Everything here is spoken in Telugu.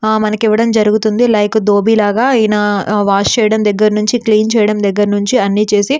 మనకి ఇవ్వడం జరుగుతుంది లైక్ దోబిలాగా ఈయన వాష్ చేయడం దగ్గర నుంచి క్లీన్ చేయడం దగ్గర నుంచి అన్ని చేసి --